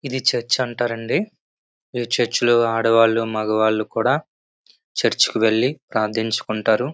ఇది చర్చ్ అంటారండి ఈ చర్చ్ లో ఆడవాళ్లు మగవాళ్ళు కూడా చర్చ్ కు వెళ్లి ప్రార్థించుకుంటారు.